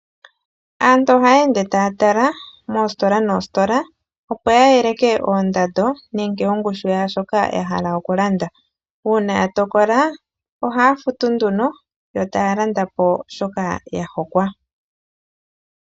Aantu oha ya ende taya tala moositola noositola, opo ya yeleke oondando nenge ongushu yaashoka ya hala okulanda uuna ya tokola ohaya futu nduno yo taya landa po shoka ya hokwa.